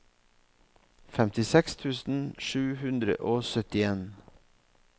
femtiseks tusen sju hundre og syttien